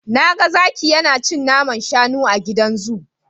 Na ga zaki yana cin naman shanu a gidan zu.